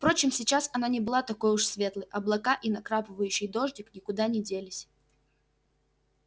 впрочем сейчас она не была такой уж светлой облака и накрапывающий дождик никуда не делись